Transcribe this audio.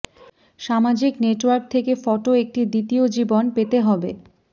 সামাজিক নেটওয়ার্ক থেকে ফটো একটি দ্বিতীয় জীবন পেতে হবে